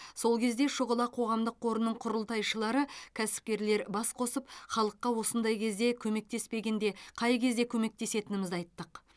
сол кезде шұғыла қоғамдық қорының құрылтайшылары кәсіпкерлер бас қосып халыққа осындай кезде көмектеспегенде қай кезде көмектесетінімізді айттық